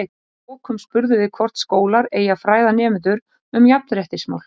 Og að lokum spurðum við hvort skólar eigi að fræða nemendur um jafnréttismál?